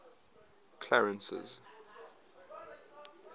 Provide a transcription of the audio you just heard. clarence's